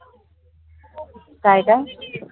कायदा?